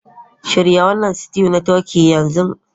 Shirya wannan stew na turkey yanzu!